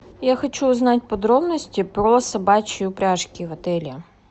я хочу узнать подробности про собачьи упряжки в отеле